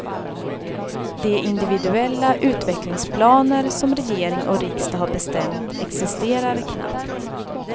De individuella utvecklingsplaner som regering och riksdag har bestämt existerar knappt.